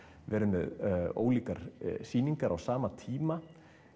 verið með ólíkar sýningar á sama tíma